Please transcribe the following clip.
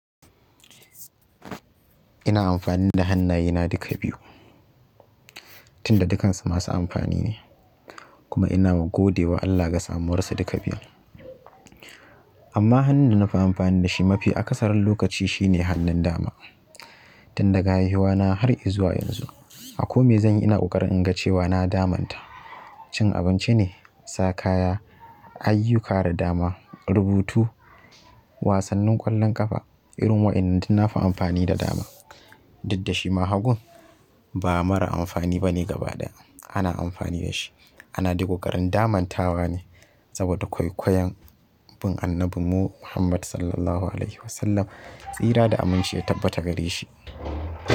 Ina amfani da hannayena duka biyu, tunda dukansu masu amfani ne kuma ina ma godewa Allah ga samuwarsu duka biyun amma hannun da nafi amfani da shi mafi akasaran lokaci shine hannun dama. Tun daga haihuwa na har izuwa yanzu. A kome zan yi ina ƙoƙari in ga cewa na damanta. Cin abinci ne, sa kaya, ayyuka da dama, rubutu, wasannin ƙwallon ƙafa irin waɗannan nafi amfani da dama. Diddashi ma hagun ba mara amfani bane gabaɗaya. Ana amfani da shi, ana digo ƙarin damantawa ne saboda kwaikwayon bin annabin mu muhammad SAW tsira da aminci ya tabbata gare shi.